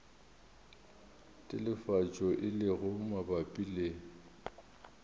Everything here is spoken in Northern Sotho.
telefatšo e lego mabapi le